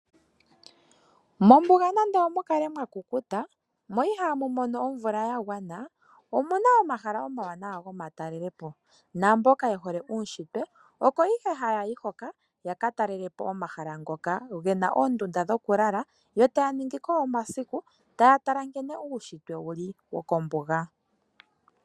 Mombuga nande omukale mwakukuta mo ihamu mono ovula yagwana omuna omahala omawana goomatalelepo naamboka ye hole uushitwe oko the hayayi hoka yakatalelepo omahala ngoka gena oomdunda dhokulala yo taya ningiko omasiku taatala nkene uushitwe wuli wokombuga.